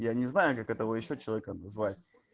я не знаю как это вы ещё человека называется